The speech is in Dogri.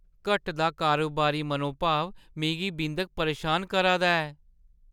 घटदी कारोबारी मनोभाव मिगी बिंद परेशान करै दा ऐ ।